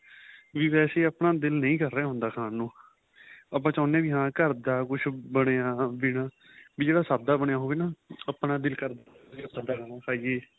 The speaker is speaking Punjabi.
ਵੀ ਵੈਸੇ ਆਪਣਾ ਦਿਲ ਨਹੀਂ ਕਰ ਰਿਹਾ ਹੁੰਦਾ ਖਾਣ ਨੂੰ ਆਪਾਂ ਚਾਹੁੰਦੇ ਹਾਂ ਵੀ ਘਰ ਦਾ ਕੁੱਛ ਬਣਿਆ ਵੀ ਨਾ ਵੀ ਜਿਹੜਾ ਸਾਦਾ ਬਣਿਆ ਹੋਵੇ ਨਾ ਆਪਣਾ ਦਿਲ ਕਰਦਾਂ ਸਾਦਾ ਖਾਣ ਨੂੰ ਖਾਈਏ